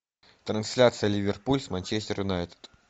трансляция ливерпуль с манчестер юнайтед